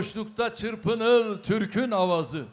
Boşluqda çırpınır Türkün avazı.